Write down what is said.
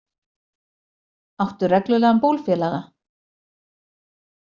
Áttu reglulegan bólfélaga?